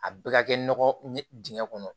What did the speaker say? A bɛɛ ka kɛ nɔgɔ ye dingɛ kɔnɔ